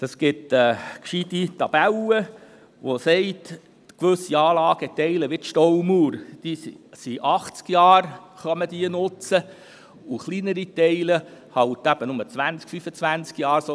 Es gibt eine gescheite Tabelle, welche aufzeigt, dass gewisse Anlageteile wie die Staumauer während 80 Jahren genutzt werden können, während es für kleinere Teile nur 20 bis 25 Jahre sind.